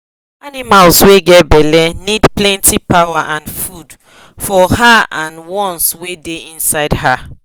animal wa get belle need plenty power and food for her and ones wa da inside her